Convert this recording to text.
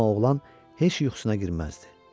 Amma oğlan heç yuxusuna girmirdi.